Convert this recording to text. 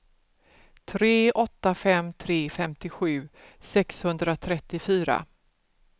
tre åtta fem tre femtiosju sexhundratrettiofyra